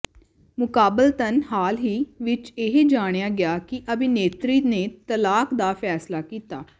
ਮੁਕਾਬਲਤਨ ਹਾਲ ਹੀ ਵਿੱਚ ਇਹ ਜਾਣਿਆ ਗਿਆ ਕਿ ਅਭਿਨੇਤਰੀ ਨੇ ਤਲਾਕ ਦਾ ਫੈਸਲਾ ਕੀਤਾ ਹੈ